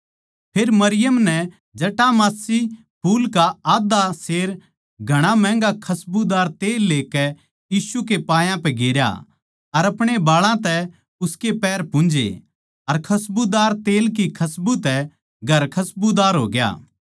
फेर मरियम नै जटामांसी फूल का आध्धा सेर घणा महँगा खसबूदार तेल लेकै यीशु के पायां पै गेरया अर अपणे बाळां तै उसके पैर पुन्झे अर खसबूदार तेल की खस्बू तै घर खसबूदार होग्या